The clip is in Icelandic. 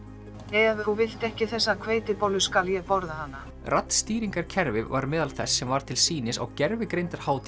ef þú vilt ekki þessa hveitibollu þá skal ég borða hana var meðal þess sem var til sýnis á